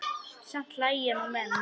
Samt hlæja nú menn.